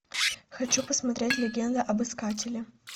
хочу посмотреть легенда об искателе